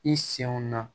I senw na